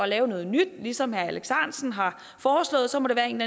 lave noget nyt ligesom herre alex ahrendtsen har foreslået så må det være en